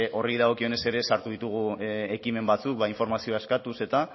horri dagokionez ere sartu ditugu ekimen batzuk informazioa eskatuz